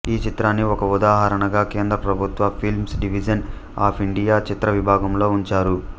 ఈ చిత్రాన్ని ఒక ఉదాహరణగా కేంద్ర ప్రభుత్వ ఫిల్మ్స్ డివిజన్ అఫ్ ఇండియా చిత్ర విభాగం లో ఉంచారు